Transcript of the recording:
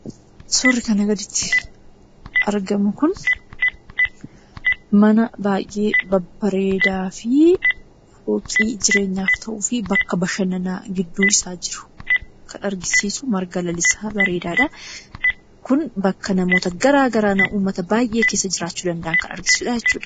Suurri kanaa gaditti argamu kun, mana baayyee babbareedaafi fooqii jireenyaaf ta'uufi bakka bashananaa gidduu isaa jiru kan agarsiisu marga lalisaa bareedaadha. Kun bakka namoota garagaraa, uummata baayyee keessa jiraachuu danda'an kan agarsiisudha jechuudha.